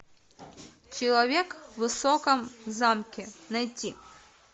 человек в высоком замке найти